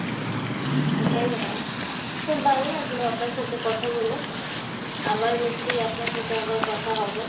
ওটাই হয়। খুব ভাল্লাগলো আপনার সাথে কথা বলে। আবার নিশ্চয়ই আপনার সাথে আবার কথা হবে।